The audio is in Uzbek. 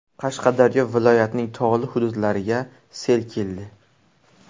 Qashqadaryo viloyatining tog‘li hududlariga sel keldi.